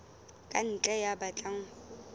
ka ntle ya batlang ho